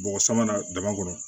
Bɔgɔ sama na dama kɔnɔ